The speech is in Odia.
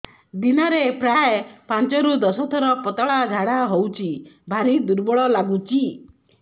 ଦିନରେ ପ୍ରାୟ ପାଞ୍ଚରୁ ଦଶ ଥର ପତଳା ଝାଡା ହଉଚି ଭାରି ଦୁର୍ବଳ ଲାଗୁଚି